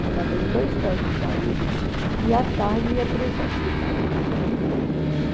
Trabalhei em dois postos de saúde e, à tarde, ia para esse hospital de crianças.